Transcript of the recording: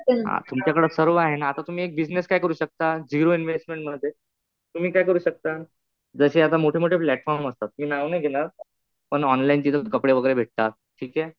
तुमच्याकडं सर्व आहे ना.आता तुम्ही एका बिजनेस काय करू शकता, झिरो इन्व्हेस्टमेंट मध्ये तुम्ही काय करू शकता ,जशे आता मोठेमोठे प्लॅटफॉर्म असतात. मी नाव नाही घेणार. पण ऑनलाईन तिथं कपडे वगैरे भेटतात. ठीक आहे.